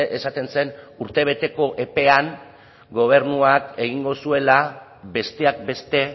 esaten zen urtebeteko epean gobernuak egingo zuela besteak beste